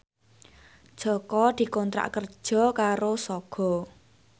Jaka dikontrak kerja karo Sogo